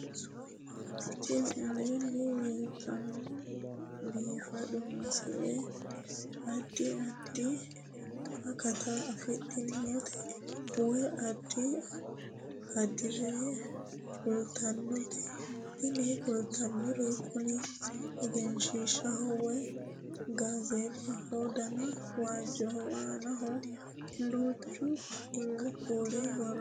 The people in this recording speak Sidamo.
Tini aleenni leetannoti biifado misile adi addi akata afidhinote woy addi addire kultannote tini kultannori kuni egenshshiishshaho woy gaazeexaho dana waajjoho aanaho duuchu kuuli borro no